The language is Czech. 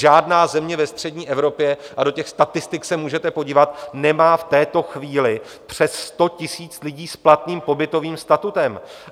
Žádná země ve střední Evropě, a do těch statistik se můžete podívat, nemá v této chvíli přes 100 000 lidí s platným pobytovým statutem.